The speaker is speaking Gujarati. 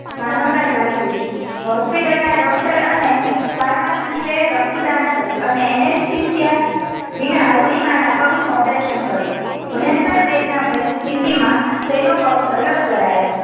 માનવતા જાગી ઉઠી હોસ્પિટલના Doctor અને Pharmacist રક્તદાન કર્યું અને Anesthesia વિના અરૂણિમા ના પગનું Operation કર્યું ભયકંર વેદનાભરી સ્તિથિ માં તેનો પગ અલગ કરાયો.